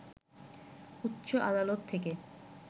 উচ্চ আদালত থেকে